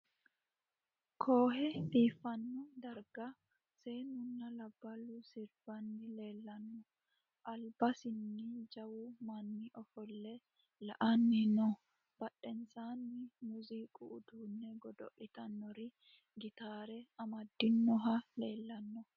Kohe biifano darigga seenuna labbalu siribanni leelano alibbasinni jawwu manni offole la'anni noo badhennisanino muuziqu uddune godolitanori giitare amadinohu leelanno